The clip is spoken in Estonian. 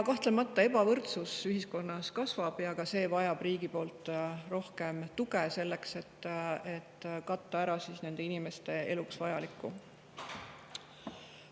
Kahtlemata, ebavõrdsus ühiskonnas kasvab ja ka siin on vaja rohkem riigi tuge, selleks et saaks katta ära inimeste vajadused.